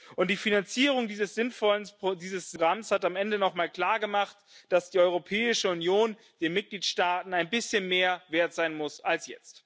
Und die Finanzierung dieses sinnvollen Programms hat am Ende nochmal klargemacht, dass die Europäische Union den Mitgliedstaaten ein bisschen mehr wert sein muss als jetzt.